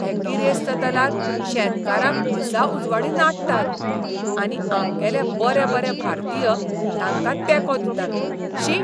हे गिरेस्त दलाल शेतकारांक दिसाउजवाडीं नाडटात. आनी आमगेले बरे बरे भारतीय तांकां तेंको दितात. शी!